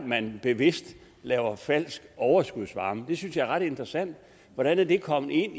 man bevidst laver falsk overskudsvarme det synes jeg er ret interessant hvordan er det kommet ind